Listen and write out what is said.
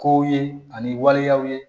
Kow ye ani waleyaw ye